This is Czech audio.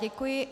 Děkuji.